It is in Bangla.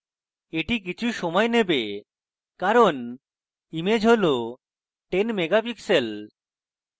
এটি কিছু সময় নেবে কারণ image হল 10 megapixels